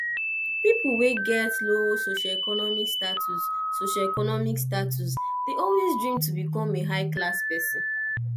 pipo wey get low socioeconmic status socioeconmic status de always dream to become a high class persin